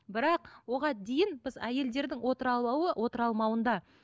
бірақ оған дейін біз әйелдердің отыра алмауында